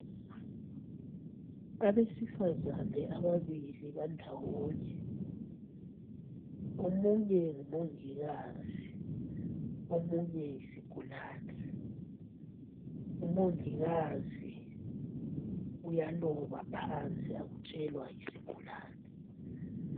Abesifazana ababili bandawonye. Omunye ngumongikazi ,omunye yisigulane. Umongikazi uyaloba phansi akutshelwa yisigulane.